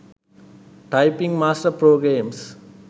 typing master pro games